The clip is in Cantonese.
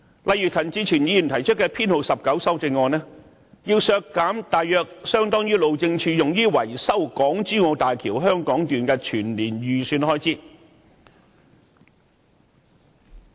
例如，陳志全議員提出的修正案編號 19， 便要求削減大約相當於路政署用於維修港珠澳大橋香港段的預算開支。